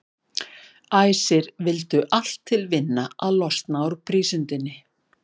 Æsir vildu allt til vinna að losna úr prísundinni.